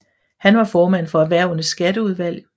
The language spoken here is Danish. Han var formand for Erhvervenes Skatteudvalg